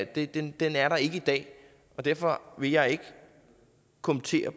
det det er der ikke i dag derfor vil jeg ikke kommentere